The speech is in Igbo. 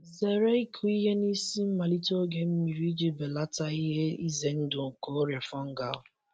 Zere ịkụ ihe n'isi mmalite oge mmiri iji belata ihe ize ndụ nke ọrịa fungal.